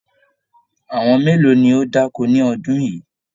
Àwọn mélòó ní o da'ko ní ọdún yìí?